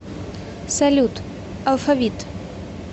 салют алфавит